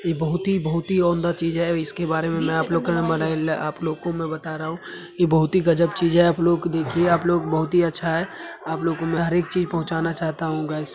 ये बहुत ही बहुत ही चीज है इसके बारे में आप लोग को आप लोग को में बता रहा हूँ| ये बहोत ही गजब चीज है आप लोग देखिये आप लोग बहोत ही अच्छा है| आप लोग को हर एक चीज पहुचाना चाहता हूँ गायस |